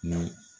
Ni